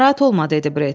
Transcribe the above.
Narahat olma, dedi Bret.